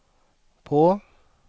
på